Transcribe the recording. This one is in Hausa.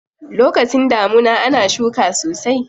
Lokacin damuna ana shuka sosai.